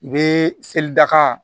I be seli daka